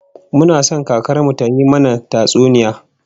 Muna son kakar mu tayi mana tatsuniya